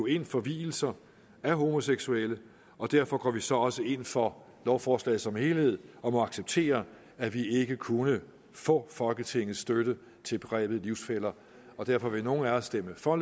ind for vielser af homoseksuelle og derfor går vi så også ind for lovforslaget som helhed og må acceptere at vi ikke kunne få folketingets støtte til begrebet livsfæller derfor vil nogle af os stemme for